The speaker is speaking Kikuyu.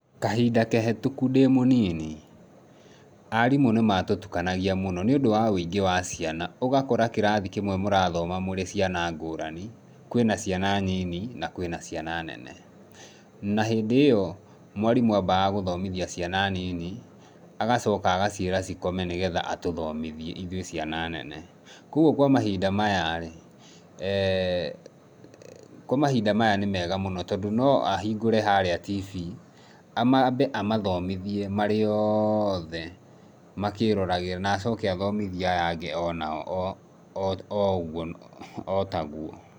Kahinda kahĩtũku ndĩ mũnini, arimũ nĩ matũtukanagia mũno nĩũndũ wa wũingĩ wa ciana. Ũgakora kĩrathi kĩmwe mũrathoma mũrĩ caina ngũrani, kwĩna ciana nyini na kwĩna ciana nene. Na hĩndĩ ĩyo, mwarimũ ambaga gũthomithia ciana nini agacoka agaciĩra cikome nĩgetha atũthomithie ithuĩ ciana nene. Kwoguo kwa mahinda maya rĩ, kwa mahinda maya nĩ mega mũno tondũ no ahingũre harĩa tibi, ambe amathomithie marĩ othe makĩroragĩra na acoke athomithie aya angĩ o nao o ũguo, o taguo.